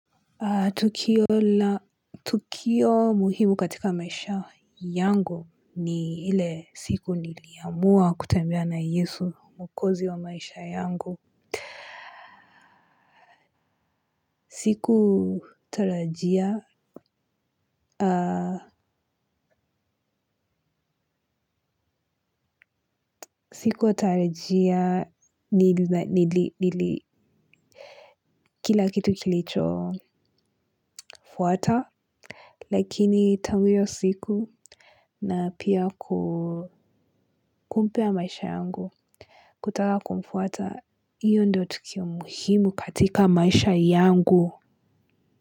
Tukio muhimu katika maisha yangu ni ile siku niliamua kutambia na yesu mwokozi wa maisha yangu. Sikutarajia, sikutarajia nili, nili, nili, kila kitu kilichofuata. Lakini tangu hiyo siku na pia kumpea maisha yangu. Kutaka kumfuata hiyo ndo tukio muhimu katika maisha yangu.